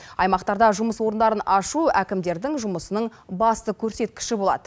аймақтарда жұмыс орындарын ашу әкімдердің жұмысының басты көрсеткіші болады